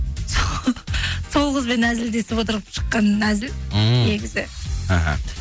со сол қызбен әзілдесіп отырып шыққан әзіл ммм негізі іхі